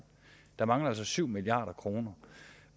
der mangler altså syv milliard kroner